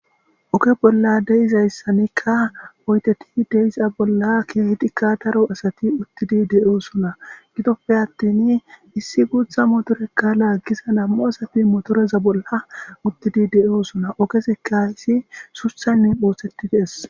Oke bolla deizayssanikka oyteti deiza bolla keehidikka daro asati uttidi de7osuna gidoppe attin issi guutha motorekka laaggiza nammu asafi motoreza bolla uttidi de7oosuna okeseka hisi suthanne ooththeti dees.